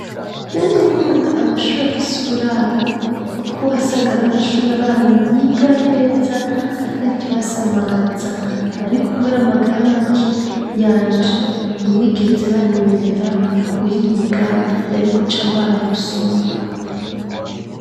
Mamwe nkunda amashuri afise uburaro, kuko uwa sagara amashuri abana biga neza ata kibasi amaza, ariko ukwera amagara make yanje ntibigeze banyemerera guhiga nari guca ngwara gusumba.